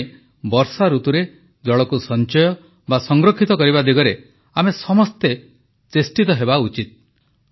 ସେଥିପାଇଁ ବର୍ଷାଋତୁରେ ଜଳକୁ ସଂଚୟ ବା ସଂରକ୍ଷିତ କରିବା ଦିଗରେ ଆମେ ସମସ୍ତେ ଚେଷ୍ଟିତ ହେବା ଉଚିତ